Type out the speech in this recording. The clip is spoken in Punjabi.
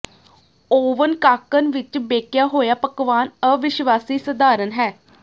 ਓਵਨ ਕਾਕਣ ਵਿਚ ਬੇਕਿਆ ਹੋਇਆ ਪਕਵਾਨ ਅਵਿਸ਼ਵਾਸੀ ਸਧਾਰਨ ਹੈ